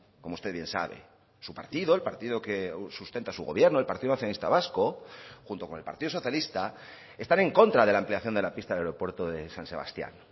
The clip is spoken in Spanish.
como usted bien sabe su partido el partido que sustenta su gobierno el partido nacionalista vasco junto con el partido socialista están en contra de la ampliación de la pista del aeropuerto de san sebastián